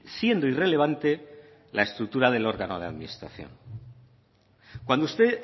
siendo irrelevante la estructura del órgano de administración cuando usted